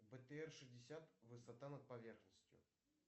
бтр шестьдесят высота над поверхностью